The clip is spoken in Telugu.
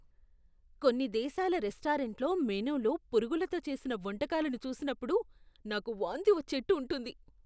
కొన్ని దేశాల రెస్టారెంట్ల మెనూలో పురుగులతో చేసిన వంటకాలను చూసినప్పుడు, నాకు వాంతి వచ్చేట్టు ఉంటుంది.